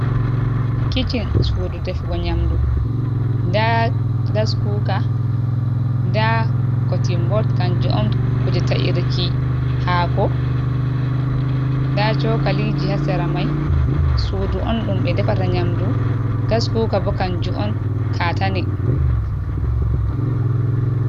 Kiccin sudu defugo nyamdu nda gaskuka nda kotimbot kanju on kuje ta’irki hako, nda cokaliji ha sera mai, sudu on ɗum ɓe defata nyamdu gaskuka bo kanju on katane.